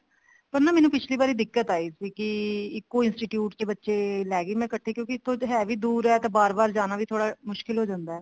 ਪਰ ਨਾ ਮੈਨੂੰ ਪਿਛਲੀ ਵਾਰ ਦਿੱਕਤ ਆਈ ਸੀ ਕੀ ਇੱਕੋ institute ਚ ਬੱਚੇ ਲੇਗੀ ਮੈਂ ਇੱਕਠੇ ਕਿਉਂਕਿ ਹੈ ਵੀ ਦੁਰ ਹੈ ਤੇ ਬਾਰ ਬਾਰ ਜਾਣਾ ਵੀ ਥੋੜਾ ਮੁਸ਼ਕਿਲ ਹੋ ਜਾਂਦਾ